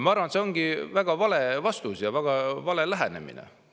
Ma arvan, et see on väga vale vastus ja väga vale lähenemine.